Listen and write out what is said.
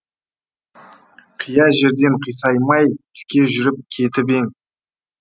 қия жерден қисаймай тіке жүріп кетіп ең